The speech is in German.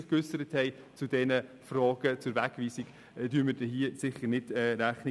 Diesen Bedenken tragen wir hier sicher nicht Rechnung.